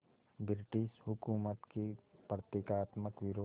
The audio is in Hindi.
ब्रिटिश हुकूमत के प्रतीकात्मक विरोध